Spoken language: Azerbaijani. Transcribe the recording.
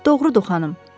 Doğrudu, xanım.